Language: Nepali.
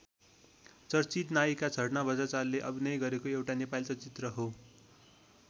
चर्चित नायिका झरना बज्राचार्यले अभिनय गरेको एउटा नेपाली चलचित्र हो।